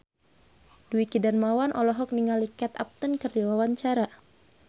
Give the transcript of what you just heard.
Dwiki Darmawan olohok ningali Kate Upton keur diwawancara